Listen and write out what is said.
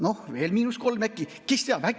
Noh, veel miinus kolm äkki?